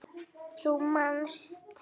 Þú manst.